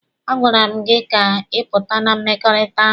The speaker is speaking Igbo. A gwara m gị ka ị pụta na mmekọrịta ahụ!